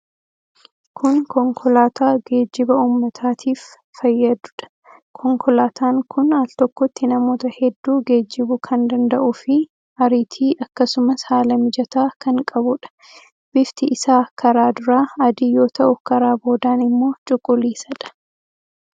Kun konkolaataa geejjiba uummataatiif fayyaduudha. Konkolaataan kun al tokkotti namoota hedduu geejjibuu kan danda'uufi ariitii, akkasumas haala mijataa kan qabuudha. Bifti isaa karaa duraa adii yoo ta'u, karaa boodaan immoo cuquliisadha.